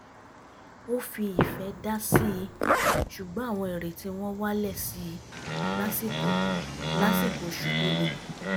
ó fi ìfẹ́ dásí i ṣugbọ́n àwọn ìrètí wọn wálẹ̀ sí i lásìkò lásìkò oṣù tó le